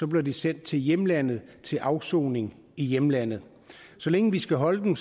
bliver de sendt til hjemlandet til afsoning i hjemlandet så længe vi skal holde dem